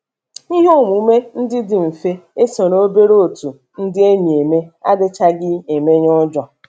Ihe omume ndị dị mfe e so obere otu ndị enyi eme adịchaghị emenye ụjọ.